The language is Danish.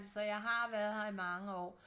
så jeg så jeg har været her i mange år